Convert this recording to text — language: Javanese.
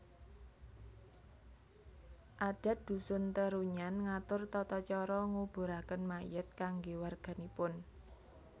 Adat Dhusun Terunyan ngatur tata cara nguburaken mayit kanggé warganipun